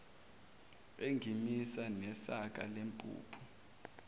engimisa nesaka lempuphu